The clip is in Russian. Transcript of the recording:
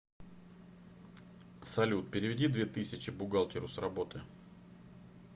салют переведи две тысячи бухгалтеру с работы